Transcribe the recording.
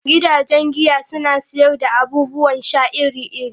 Gidajen giya suna sayar da abubuwan sha iri-iri.